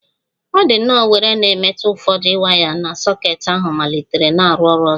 Ọ dị nnọọ were na-emetụ ụfọdụ waya na soket ahu malitere na-arụ ọrụ ọzọ